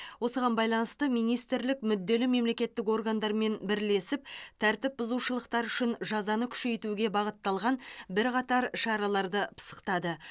осыған байланысты министрлік мүдделі мемлекеттік органдармен бірлесіп тәртіп бұзушылықтар үшін жазаны күшейтуге бағытталған бірқатар шараларды пысықтады